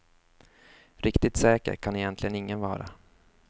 Riktigt säker kan egentligen ingen vara.